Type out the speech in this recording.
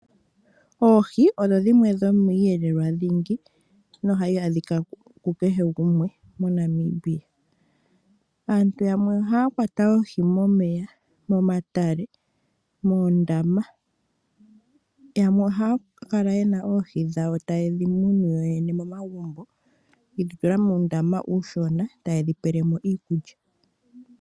Oohi odho dhimwe dhomiiyelelwa dhingi nohayi adhika ku kehe gumwe moNamibia. Aantu yamwe ohaya kwata oohi momeya, momatale, nomoondama. Yamwe ohaya kala yena oohi dhawo taye dhi munu yo yene momagumbo, yedhi tula muundama uushona, taye dhi pelemo iikulya.